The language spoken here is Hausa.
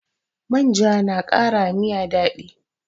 Manja na kara wa miya daɗi